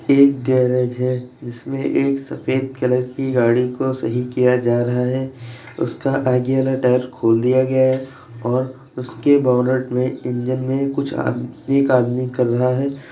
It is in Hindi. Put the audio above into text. एक गैरज है जिसमें एक सफ़ेद कलर की गाड़ी को सही किया जा रहा है उसका आगे वाला टायर खोल दिया गया है और उसके बोनट में इंजन में कुछ एक आदमी कर रहा है।